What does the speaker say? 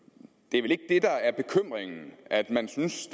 er der er bekymringen at man synes